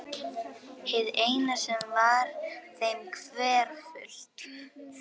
Hið eina sem var þeim hverfult.